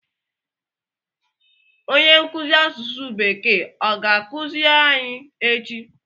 Onye nkuzi asụsụ bekee ọ ga-akụziri anyị echi?